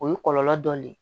O ye kɔlɔlɔ dɔ ye